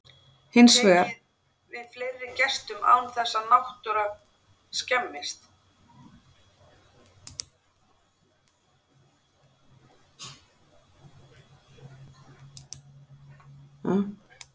Hins vegar getur staðurinn nú tekið við fleiri gestum án þess að náttúra skemmist.